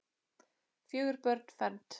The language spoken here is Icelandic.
Fjögur börn fermd.